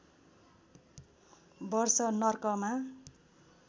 वर्ष नर्कमा